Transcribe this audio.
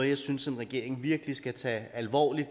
jeg synes en regering virkelig skal tage alvorligt